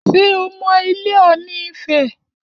Ṣé o mọ ilé Ọ̀ọ̀nì ifẹ̀?